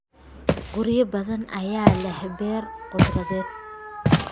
Guryo badan ayaa leh beer khudradeed.